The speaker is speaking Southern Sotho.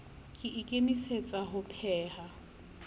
ke a ikemisetsa ho pheha